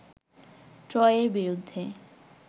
ট্রয়ের বিরুদ্ধে